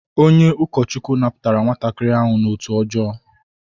Onye ukochukwu naputara nwatakiri ahu n'otu ojoo